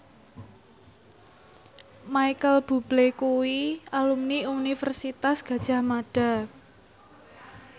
Micheal Bubble kuwi alumni Universitas Gadjah Mada